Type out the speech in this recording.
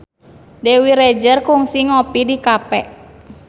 Dewi Rezer kungsi ngopi di cafe